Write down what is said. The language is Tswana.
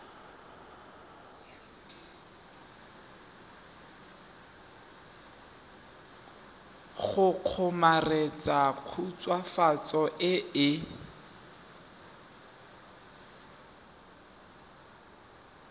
go kgomaretsa khutswafatso e e